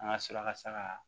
An ka sɔrɔ a ka saga